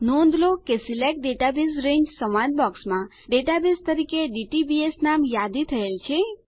નોંધ લો કે સિલેક્ટ ડેટાબેઝ રંગે સંવાદ બોક્સમાં ડેટાબેઝ તરીકે ડીટીબીએસ નામ યાદી થયેલ છે